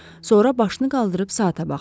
Sonra başını qaldırıb saata baxdı.